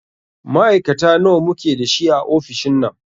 Ma'aikata nawa muke da shi a ofishin nan?